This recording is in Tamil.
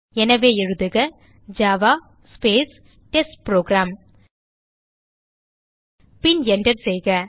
எனவே எழுதுக ஜாவா ஸ்பேஸ் டெஸ்ட்புரோகிராம் பின் Enter செய்க